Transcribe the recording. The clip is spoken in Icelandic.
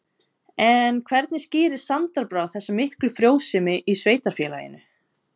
En hvernig skýrir Sandra Brá þessa miklu frjósemi í sveitarfélaginu?